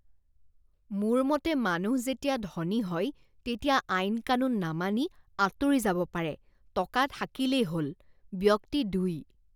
মোৰ মতে মানুহ যেতিয়া ধনী হয় তেতিয়া আইন কানুন নামানি আঁতৰি যাব পাৰে। টকা থাকিলেই হ'ল! ব্যক্তি দুই